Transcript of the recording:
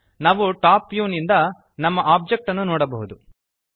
ನಾವು top view ನಿಂದ ನಮ್ಮ ಒಬ್ಜೆಕ್ಟ್ ಅನ್ನು ನೋಡಬಹುದು